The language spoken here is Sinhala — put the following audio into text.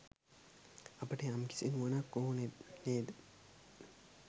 අපට යම්කිසි නුවණක් ඕන නේද?